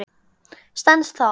Stenst það?